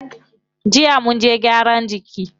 Jiya munje gyaran jiki.